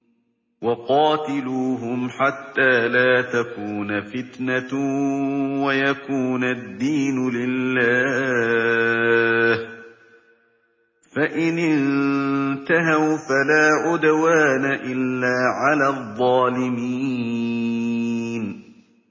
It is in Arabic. وَقَاتِلُوهُمْ حَتَّىٰ لَا تَكُونَ فِتْنَةٌ وَيَكُونَ الدِّينُ لِلَّهِ ۖ فَإِنِ انتَهَوْا فَلَا عُدْوَانَ إِلَّا عَلَى الظَّالِمِينَ